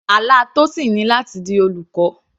Àlá Tosin ni láti di olùkọ́.